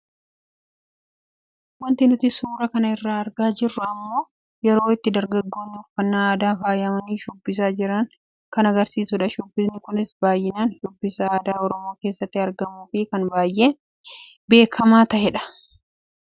Waanti nuti suuraa kana irraa argaa jirru immoo yeroo itti dargaggoonni uffannaa aadaan faayamanii shubbisaa jiran kan agarsiisuudha. Shubbisni kunis baayyinaan shubbisa aadaa oromoo keessatti argamuu fi kan baayee beekamaa taheedha.